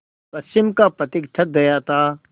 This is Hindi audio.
पश्चिम का पथिक थक गया था